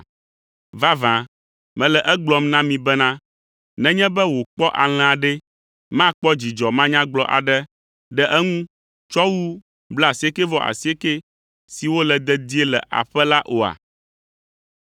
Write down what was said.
Vavã mele egblɔm na mi bena nenye be wòkpɔ alẽa ɖe, makpɔ dzidzɔ manyagblɔ aɖe ɖe eŋu tsɔ wu blaasiekɛ-vɔ-asiekɛ siwo le dedie le aƒe la oa?